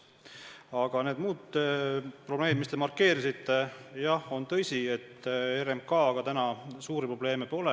Aga muud probleemid, mida te markeerisite – jah, on tõsi, et RMK-ga suuri probleeme pole.